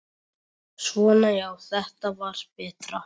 Svona já, þetta var betra.